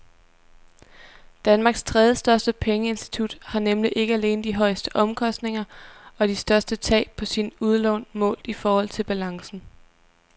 Danmarks tredjestørste pengeinstitut har nemlig ikke alene de højeste omkostninger og de største tab på sine udlån målt i forhold til balancen.